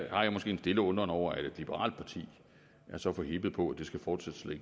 jeg måske en stille undren over at et liberalt parti er så forhippet på at det skal fortsætte